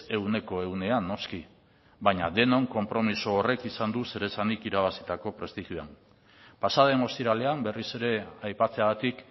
ehuneko ehunean noski baina denon konpromiso horrek izan du zer esanik irabazitako prestigioan pasaden ostiralean berriz ere aipatzeagatik